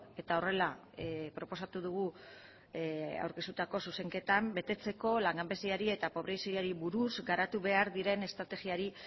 eta horrela proposatu dugu aurkeztutako zuzenketan betetzeko langabeziari eta pobreziari buruz garatu behar diren estrategiari